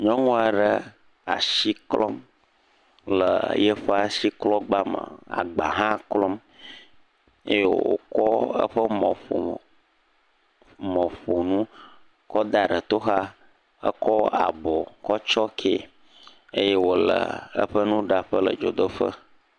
Nyɔnu aɖe le asi klɔm le yeƒe asiklɔgba me, agba hã klɔm eye wokɔ eƒe mɔƒomɔ mɔƒonu kɔ da ɖe toxa hekɔ abɔ tsɔkɛe eye wole eƒe nuɖaƒe le dzodoƒe.